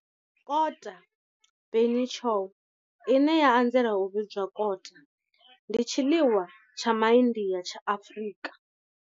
Kota, bunny chow, ine ya anzela u vhidzwa kota, ndi tshiḽiwa tsha MA India tsha Afrika.